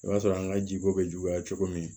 O b'a sɔrɔ an ka jiko bɛ juguya cogo min